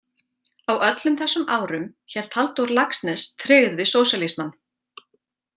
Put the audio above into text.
Á öllum þessum árum hélt Halldór Laxness tryggð við sósíalismann.